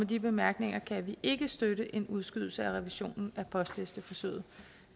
de bemærkninger kan vi ikke støtte en udskydelse af revisionen af postlisteforsøget